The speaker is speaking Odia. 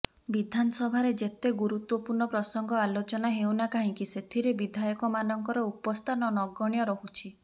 ବିଧାନସଭାରେ ଯେତେ ଗୁରୁତ୍ୱପୂର୍ଣ୍ଣ ପ୍ରସଙ୍ଗ ଆଲୋଚନା ହେଉନା କାହିଁକି ସେଥିରେ ବିଧାୟକମାନଙ୍କର ଉପସ୍ଥାନ ନଗଣ୍ୟ ରହୁଛି